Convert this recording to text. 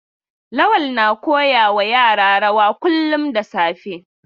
Lawal na koya wa yara rawa kullum da safe.